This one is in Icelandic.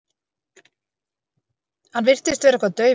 Hann virtist vera eitthvað daufur.